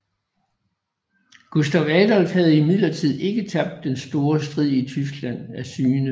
Gustav Adolf havde imidlertid ikke tabt den store strid i Tyskland af syne